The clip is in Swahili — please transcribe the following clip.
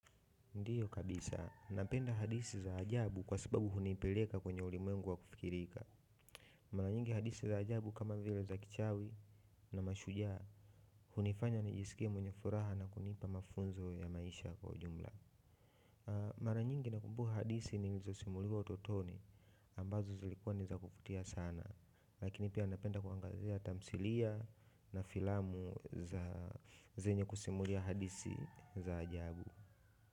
Ndiyo kabisa, napenda hadithi za ajabu kwa sababu hunipeleka kwenye ulimwengu wa kufikirika. Mara nyingi hadithi za ajabu kama vile za kichawi na mashujaa, hunifanya nijiskie mwenye furaha na kunipa mafunzo ya maisha kwa ujumla. Mara nyingi nakumbuka hadithi nilizosimuliwa utotoni ambazo zilikuwa ni za kuvutia sana, lakini pia napenda kuangazia tamthilia na filamu za zenye kusimulia hadithi za ajabu.